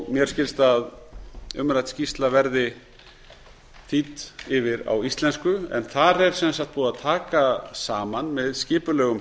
mér skilst að umrædd skýrsla veri þýdd yfir á íslensku en þar er sem sagt búið að aka sama með skipulegum